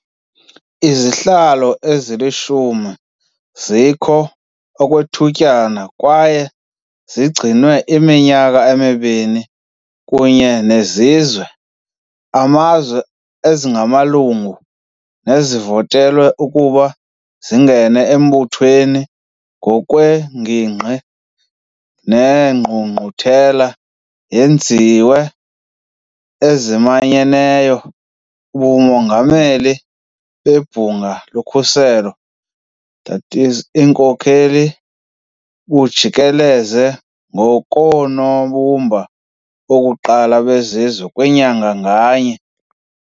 Izihlalo ezilishumi zikho okwethutyana kwaye zigcinwe iminyaka emibini kunye nezizwe, amazwe, ezingaamalungu nezivotelwe ukuba zingene embuthweni ngokweengingqi zeNgqungquthela yezizwe ezimanyeneyo. Ubongameli bebhunga lokhuseleko, i.e. iinkokheli, bujikeleza ngokoonobumba bokuqala bezizwe kwinyanga nganye.